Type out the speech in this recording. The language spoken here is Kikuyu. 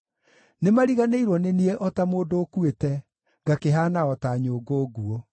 Nĩmariganĩirwo nĩ niĩ o ta mũndũ ũkuĩte; ngakĩhaana o ta nyũngũ nguũ.